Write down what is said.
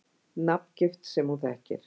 Nafngift sem hún þekkir.